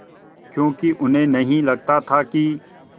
क्योंकि उन्हें नहीं लगता था कि